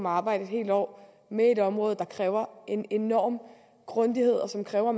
arbejde et helt år med et område der kræver en enorm grundighed og som kræver at